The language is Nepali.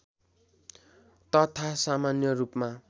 तथा सामान्य रूपमा